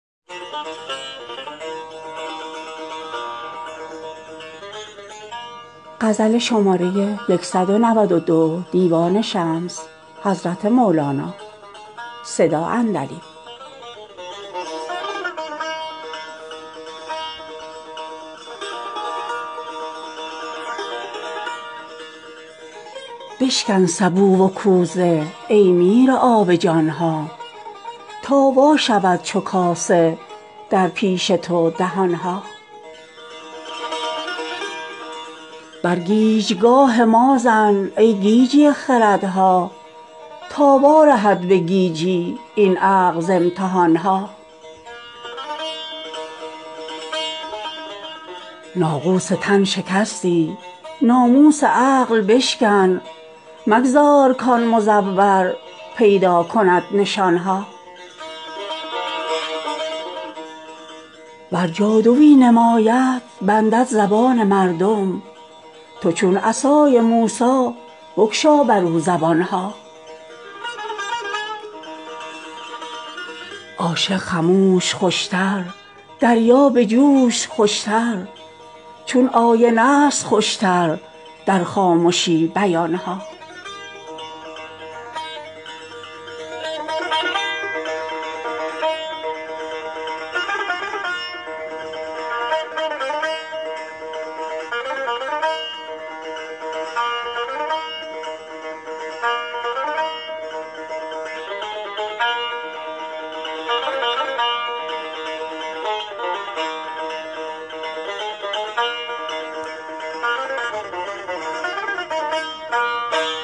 بشکن سبو و کوزه ای میرآب جان ها تا وا شود چو کاسه در پیش تو دهان ها بر گیجگاه ما زن ای گیجی خردها تا وارهد به گیجی این عقل ز امتحان ها ناقوس تن شکستی ناموس عقل بشکن مگذار کآن مزور پیدا کند نشان ها ور جادویی نماید بندد زبان مردم تو چون عصای موسی بگشا برو زبان ها عاشق خموش خوش تر دریا به جوش خوش تر چون آینه ست خوش تر در خامشی بیان ها